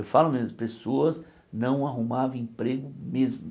Eu falo mesmo, pessoas não arrumavam emprego mesmo.